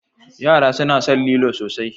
Yara suna son lilo sosai.